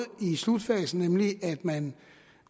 i slutfasen nemlig at man